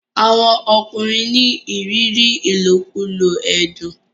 àwọn ọkùnrin ní ìrírí ilokulo ẹdun.